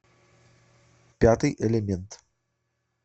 пятый элемент